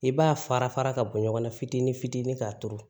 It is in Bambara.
I b'a fara fara ka bɔ ɲɔgɔn na fitinin fitinin k'a turu